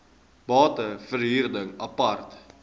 bate verhuring apart